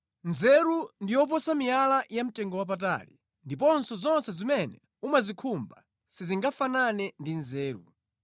Nzeru ndi yoposa miyala yamtengowapatali; ndipo zonse zimene umazikhumba sizingafanane ndi nzeru.